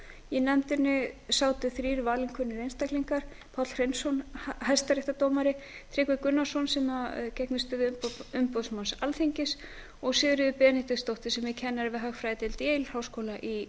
í nefndinni sátu þrír valinkunnir einstaklingar páll hreinsson hæstaréttardómari tryggvi gunnarsson sem gegnir stöðu umboðsmanns alþingis og sigríður benediktsdóttir sem er kennari við hagfræðideild yale háskóla í